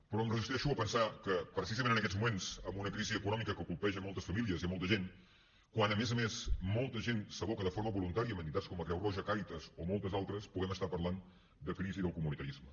però em resisteixo a pensar que precisament en aquests moments amb una crisi econòmica que colpeja moltes famílies i molta gent quan a més a més molta gent s’aboca de forma voluntària en entitats com la creu roja càritas o moltes altres puguem estar parlant de crisi del comunitarisme